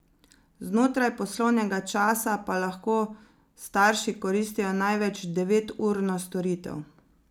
Znotraj poslovnega časa pa lahko starši koristijo največ deveturno storitev.